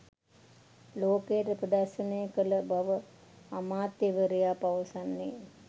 ලෝකයට ප්‍රදර්ශනය කළ බව අමාත්‍යවරයා පවසන්නේ.